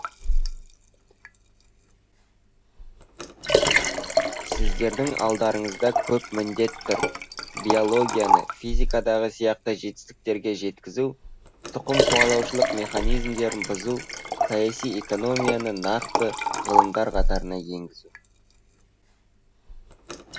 сіздердің алдарыңызда көп міндет тұр биологияны физикадағы сияқты жетістіктерге жеткізу тұқымқуалаушылық механизмдерін бұзу саясиэкономияны нақты ғылымдар қатарына енгізу